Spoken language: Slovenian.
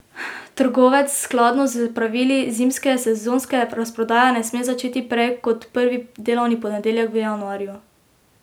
Trgovec skladno s pravili zimske sezonske razprodaje ne sme začeti prej kot prvi delovni ponedeljek v januarju.